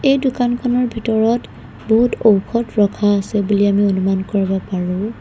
এই দোকানখনৰ ভিতৰত বহুত ঔষধ ৰখা আছে বুলি আমি অনুমান কৰিব পাৰোঁ।